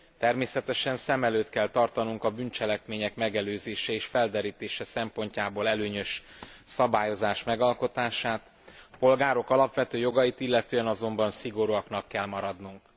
Természetesen szem előtt kell tartanunk a bűncselekmények megelőzése és felderítése szempontjából előnyös szabályozás megalkotását, a polgárok alapvető jogait illetően azonban szigorúaknak kell maradnunk.